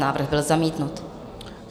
Návrh byl zamítnut.